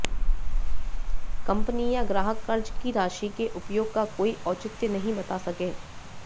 company या ग्राहक कर्ज की राशि के उपयोग का कोई औचित्य नहीं बता सके